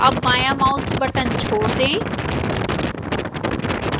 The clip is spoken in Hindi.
अब बायां mouse button छोड़ दें